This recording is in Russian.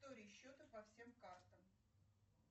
истории счета по всем картам